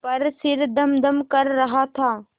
पर सिर धमधम कर रहा था